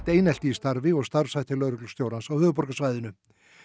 einelti í starfi og starfshætti lögreglustjórans á höfuðborgarsvæðinu